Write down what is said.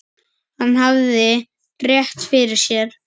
Hann hafði rétt fyrir sér.